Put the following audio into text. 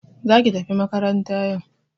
Za ki tafi makaranta yau!